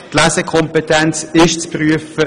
Die Lesekompetenz ist zu prüfen!